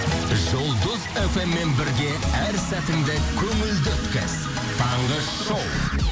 жұлдыз фм мен бірге әр сәтіңді көңілді өткіз таңғы шоу